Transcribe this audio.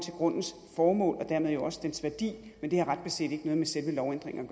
grundens formål og dermed jo også dens værdi men det har ret beset ikke noget med selve lovændringen